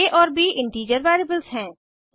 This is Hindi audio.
आ और ब इंटीजर वेरिएबल्स हैं